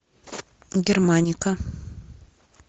германика